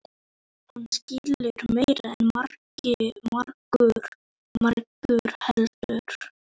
Hún skilur meira en margur heldur.